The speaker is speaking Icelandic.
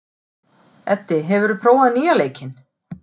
Eddi, hefur þú prófað nýja leikinn?